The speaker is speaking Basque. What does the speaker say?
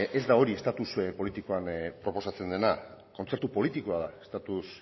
ez da hori estatus politikoan proposatzen dena kontzertu politikoa da estatus